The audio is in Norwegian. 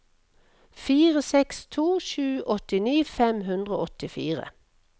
fire seks to sju åttini fem hundre og åttifire